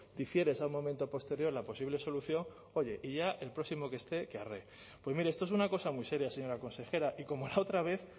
difieres a un momento posterior la posible solución oye y ya el próximo que esté que arree pues mire esto es una cosa muy seria señora consejera y como la otra vez